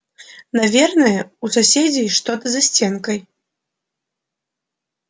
наверное у соседей что-то за стенкой